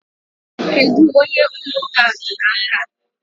Kedu ka ụlọ ụka a dị n'aka?